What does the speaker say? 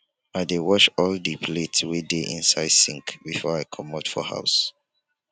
i dey wash all di plates wey dey inside sink before i comot for house.